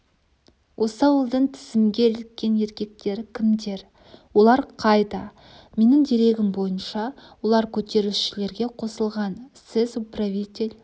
осы ауылдың тізімге іліккен еркектері кімдер олар қайда менің дерегім бойынша олар көтерілісшілерге қосылған сіз управитель